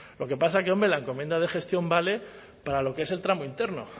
lo que pasa es que hombre la encomienda de gestión vale para lo que es el tramo interno